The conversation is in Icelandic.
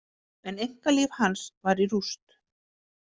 En einkalíf hans var í rúst.